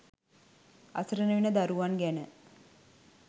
අසරණ වෙන දරුවන් ගැන